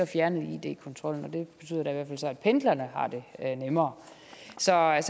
fjernet id kontrollen og det betyder da så at pendlerne har det nemmere så jeg